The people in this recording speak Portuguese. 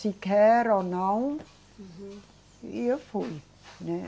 Se quer ou não. Uhum. E eu fui, né?